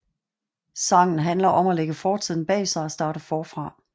Sangen handler om at lægge fortiden bag sig og starte forfra